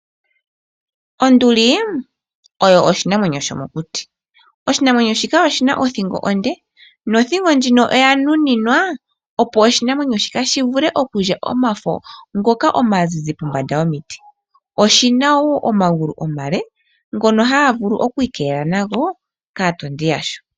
Onduli oyo oshinamwenyo shomokuti, oshinamwenyo shika oshi na othingo onde, nothingo ndjino oya nuninwa opo oshinamwenyo shika shivule okulya ngoka omazizi pombanda yomiti. Oshi na wo omagulu omale ngono haga vulu okwiikelela nago kaatondi yasho.